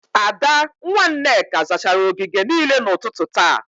Ada, nwa Nneka zachara ogige niile n'ụtụtụ taa